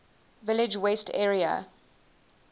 village west area